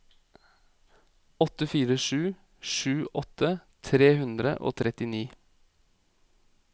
åtte fire sju sju åtti tre hundre og trettini